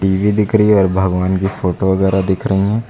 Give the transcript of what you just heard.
ये दिख रही है और भगवान की फोटो वगैरा दिख रही है।